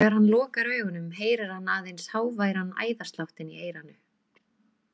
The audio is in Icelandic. Þegar hann lokar augunum heyrir hann aðeins háværan æðasláttinn í eyranu.